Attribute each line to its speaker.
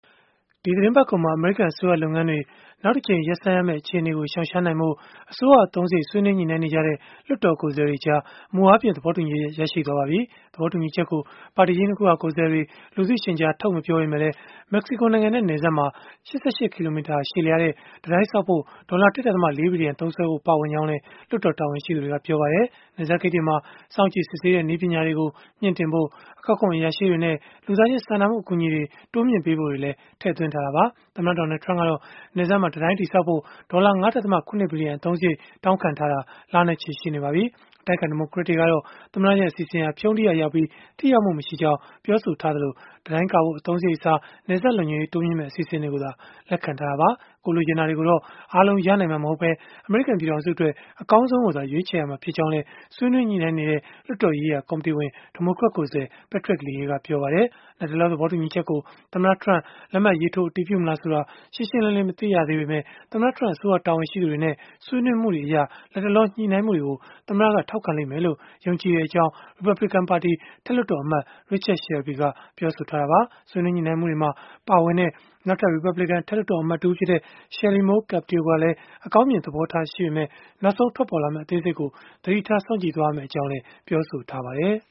Speaker 1: ဒီသီတင်းပတ်ကုန်မှာ အမေရိကန်အစိုးရလုပ်ငန်းတွေ နောက်တကြိမ် ရပ်ဆိုင်းရမယ့် အခြေအနေကို ရှောင်ရှားနိုင်ဖို့နဲ့ အစိုးရ အသုံးစရိတ်အတွက် ဆွေးနွေးညှိနှိုင်းနေကြတဲ့ လွှတ်တော်ကိုယ်စားလှယ်တွေကြား မူအားဖြင့် သဘောတူညီချက် ရရှိသွားပါပြီ။ သဘောတူညီချက်ကို ပါတီကြီး ၂ ခုက ကိုယ်စားလှယ်တွေ လူသိရှင်ကြား ထုတ်မပြောပေမဲ့လည်း၊ မက္ကစီကိုနိုင်ငံနဲ့ နယ်စပ်မှာ ၈၈ ကီလိုမီတာ ရှည်လျားတဲ့ တံတိုင်းဆောက်ဖို့ ဒေါ်လာ ၁.၄ ဘီလီယံ သုံးစွဲဖို့ ပါဝင်ကြောင်းလည်း လွှတ်တော် တာဝန်ရှိသူတွေက ပြောပါတယ်။ နယ်စပ်ဂိတ်တွေမှာ စောင့်ကြည့်စစ်ဆေးတဲ့ နည်းပညာတွေကို မြှင့်တင်ဖို့၊ အကောက်ခွန် အရာရှိတွေနဲ့ လူသားချင်းစာနာမှု အကူအညီတွေ တိုးပေးဖို့တွေလည်း ထည့်သွင်းထားတာပါ။ သမ္မတ Donald Trump ကတော့ နယ်စပ်မှာ တံတိုင်းတည်ဆောက်ဖို့ ဒေါ်လာ ၅.၇ ဘီလီယံ အသုံးစရိတ် တောင်းခံထားတာ လနဲ့ချီ ရှိနေပါပြီ။ အတိုက်အခံ ဒီမိုကရက်တွေကတော့ သမ္မတရဲ့ အစီအစဉ်ဟာ ဖြုန်းတီးရာရောက်ပြီး ထိရောက်မှု မရှိကြောင်း ပြောဆိုထားကြပြီး၊ တံတိုင်းကာဖို့ အသုံးစရိတ်အစား နယ်စပ်လုံခြုံရေး တိုးမြှင့်မယ့် အစီအစဉ်တွေကိုသာ လက်ခံထားတာပါ။ ကိုယ်လိုချင်တာတွေကိုတော့ အားလုံးရနိုင်မှာ မဟုတ်ဘဲ အမေရိကန် ပြည်ထောင်စုအတွက် အကောင်းဆုံးကိုသာ ရွေးချယ်ရမှာ ဖြစ်ကြောင်းလည်း ဆွေးနွေးညှိနှိုင်းနေတဲ့ လွှတ်တော်ရေးရာ ကော်မတီဝင် ဒီမိုကရက်ကိုယ်စားလှယ် Patrick Leahy ကပြောပါတယ်။ လတ်တလော သဘောတူညီချက်ကို သမ္မတ Trump လက်မှတ်ရေးထိုး အတည်ပြုမလားဆိုတာ ရှင်းရှင်းလင်းလင်း မရှိသေးပေမဲ့၊ သမ္မတ Trump အစိုးရတာဝန်ရှိသူတွေနဲ့ ဆွေးနွေးမှုတွေအရ လတ်တလော ညှိနှိုင်းမှုတွေကို သမ္မတက ထောက်ခံလိမ့်မယ်လို့ ယုံကြည်ကြောင်း ရီပတ်ဘလစ်ကန်ပါတီ အထက်လွှတ်တော်အမတ် Richard Shelby ကတော့ ပြောဆိုခဲ့တာပါ။ ဆွေးနွေး ညှိနှိုင်းမှုတွေမှာ ပါဝင်တဲ့ နောက်ထပ် ရီပတ်ဘလစ်ကန် အထက်လွှတ်တော် အမတ်တဦးဖြစ်တဲ့ Shelley Moore Capito ကတော့ အကောင်းမြင် သဘောထားပေမဲ့ နောက်ဆုံးထွက်ပေါ်လာမယ့် အသေးစိတ်ကို သတိထားစောင့်ကြည့်ရမယ့်အကြောင်း ပြောဆိုထားပါတယ်